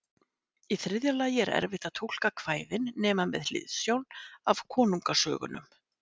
Í þriðja lagi er erfitt að túlka kvæðin nema með hliðsjón af konungasögunum.